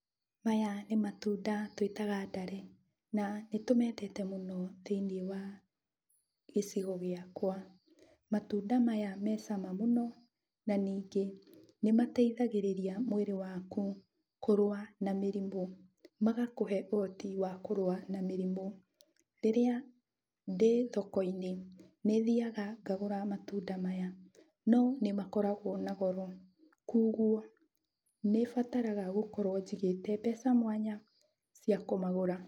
Maya nĩ matunda twĩtaga ndare na nĩ tũmendete mũno thĩiniĩ wa gĩcigo gĩakwa. Matunda maya me cama mũno na ningĩ nĩ mateithagĩrĩria mwĩrĩ waku kũrũa na mĩrimũ, magakũhe ũhoti wakũrũa na mĩrimũ. Rĩrĩa ndĩ thoko-inĩ, nĩthiaga ngagũra matunda maya, no nĩmakoragwo na goro, kũoguo nĩbataraga gũkorwo njigĩte mbeca mwanya cia kũmagũra.